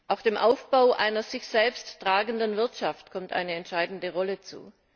Auch dem Aufbau einer sich selbst tragenden Wirtschaft kommt eine entscheidende Rolle zu.